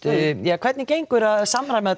hvernig gengur að samræma þetta